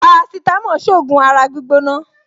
Parasitamọ́ọ̀n ṣògùn ara gbígbóná